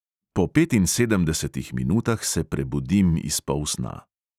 Po petinsedemdesetih minutah se prebudim iz polsna.